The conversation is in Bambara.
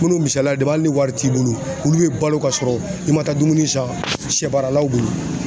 Kunun misaliya de hali ni wari t'i bolo olu bɛ balo kasɔrɔ i ma taa dumuni san sɛbaaralaw bolo